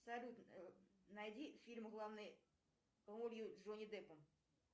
салют найди фильм в главной ролью джонни деппом